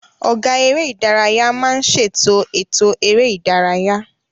Ọ̀gá eré ìdárayá máa ń ṣètò ètò eré ìdárayá